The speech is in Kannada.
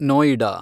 ನೋಯಿಡಾ